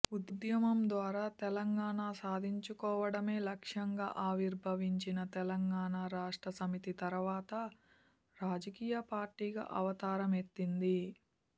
ఉద్యమం ద్వారా తెలంగాణా సాధించుకోవడమే లక్ష్యంగా ఆవిర్భవించిన తెలంగాణా రాష్ట్ర సమితి తరువాత రాజకీయ పార్టీగా అవతారం ఎత్తింది